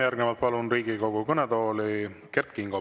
Järgnevalt palun Riigikogu kõnetooli Kert Kingo.